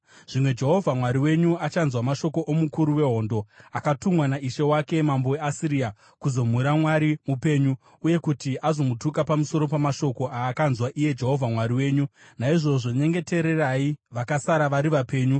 Zvimwe Jehovha Mwari wenyu achanzwa mashoko omukuru wehondo, akatumwa naishe wake, mambo weAsiria, kuzomhura Mwari mupenyu, uye kuti azomutuka pamusoro pamashoko aakanzwa iye Jehovha Mwari wenyu. Naizvozvo nyengetererai vakasara vari vapenyu.”